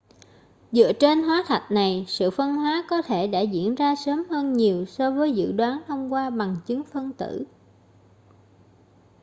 dựa trên hóa thạch này sự phân hóa có thể đã diễn ra sớm hơn nhiều so với dự đoán thông qua bằng chứng phân tử